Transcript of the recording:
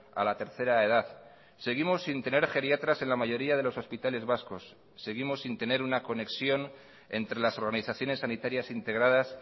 a la tercera edad seguimos sin tener geriatras en la mayoría de los hospitales vascos seguimos sin tener una conexión entre las organizaciones sanitarias integradas